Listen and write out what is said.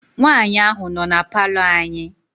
Nwaanyị ahụ nọ na palọ anyị.